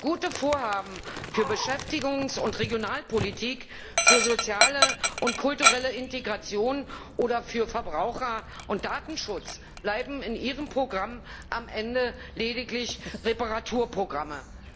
Gute Vorhaben für Beschäftigungs und Regionalpolitik, für soziale und kulturelle Integration oder für Verbraucher und Datenschutz bleiben in Ihrem Programm am Ende lediglich Reparaturprogramme.